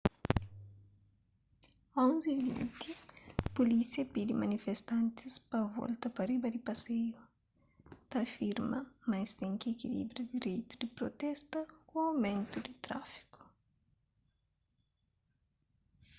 11:20 pulísia pidi manifestantis pa volta pa riba di paseiu ta afirma ma es ten ki ekilibra direitu di protesta ku aumentu di tráfiku